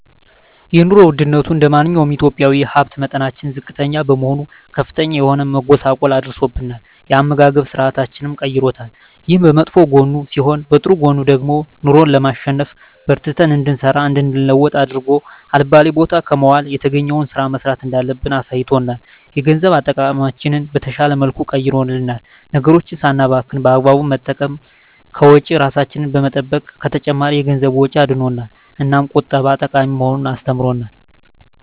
የኑሮ ወድነቱ እንደማንኛውም ኢትዮጵያዊ የሀብት መጠናችን ዝቅተኛ በመሆኑ ከፍተኛ የሆነ መጎሳቆል አድርሶብናል የአመጋገብ ስርአታችንንም ቀይሮታል። ይሄ በመጥፎ ጎኑ ሲሆን በጥሩ ጎኑ ደግሞ ኑሮን ለማሸነፍ በርትተን እንድንሰራ እንድንለወጥ አድርጎ አልባሌ ቦታ ከመዋል የተገኘዉን ስራ መስራት እንዳለብን አሳይቶናል። የገንዘብ አጠቃቀማችንን በተሻለ መልኩ ቀይሮልናል ነገሮችን ሳናባክን በአግባቡ በመጠቀም ከወጪ እራሳችንን በመጠበቅ ከተጨማሪ የገንዘብ ወጪ አድኖናል። እናም ቁጠባ ጠቃሚ መሆኑን አስተምሮናል።